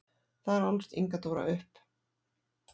Þar ólst Inga Dóra upp.